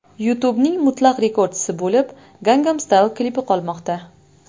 YouTube’ning mutlaq rekordchisi bo‘lib Gangnam Style klipi qolmoqda.